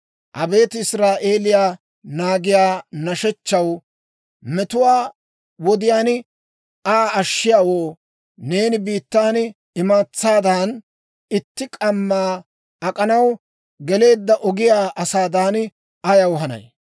Abeet Israa'eelii naagiyaa nashshechchaw, metuwaa wodiyaan Aa ashshiyaawoo, neeni biittan imatsaadan, itti k'amma ak'anaw geleedda ogiyaa asaadan ayaw hanay?